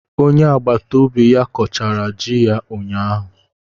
Onye agbata obi ya kọchara ji ya ụnyahụ.